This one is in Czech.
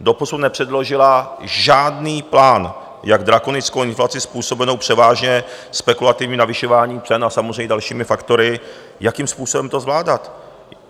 Doposud nepředložila žádný plán, jak drakonickou inflaci způsobenou převážně spekulativním navyšováním cen a samozřejmě dalšími faktory, jakým způsobem to zvládat.